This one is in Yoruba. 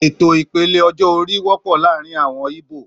Ètò ìpele ọjọ́-orí wọ́pọ̀ láàárín àwọn íbò